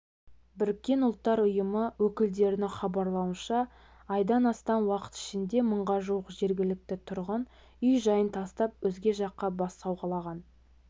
біріккен ұлттар ұйымы өкілдерінің хабарлауынша айдан астам уақыт ішінде мыңға жуық жергілікті тұрғын үй-жайын тастап өзге жаққа бас сауғалаған